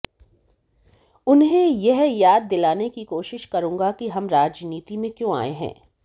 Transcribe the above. उन्हें यह याद दिलाने की कोशिश करूंगा कि हम राजनीति में क्यों आए हैं